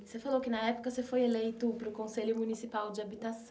Você falou que na época você foi eleito para o Conselho Municipal de Habitação.